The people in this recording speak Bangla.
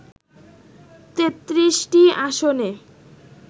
৩৩টি আসনে